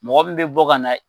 Mɔgɔ min bɛ bɔ ka na.